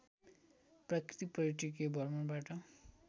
प्राकृतिक पर्यटकीय भ्रमणबाट